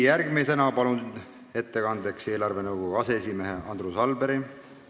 Järgmisena palun ettekandeks kõnepulti eelarvenõukogu aseesimehe Andrus Alberi.